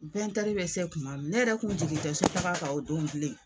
bɛ se kuma min ne yɛrɛ kun jigin tɛ sotaga kan o don bilen.